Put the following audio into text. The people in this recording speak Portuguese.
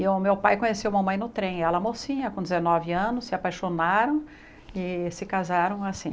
E o meu pai conheceu a mamãe no trem, ela mocinha, com dezenove anos, se apaixonaram e se casaram assim.